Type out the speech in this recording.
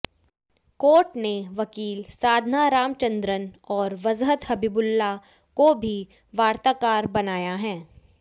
court ने वकील साधना रामचंद्रन और वजहत हबीबुल्लाह को भी वार्ताकार बनाया है